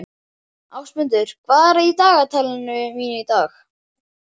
Ásmundur, hvað er á dagatalinu mínu í dag?